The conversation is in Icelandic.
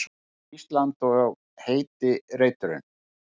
Ísland og heiti reiturinn.